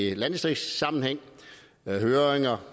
i landdistriktssammenhæng med høringer